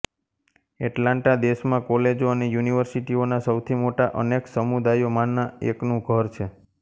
Atlanta દેશમાં કોલેજો અને યુનિવર્સિટીઓના સૌથી મોટા અનેક સમુદાયોમાંના એકનું ઘર છે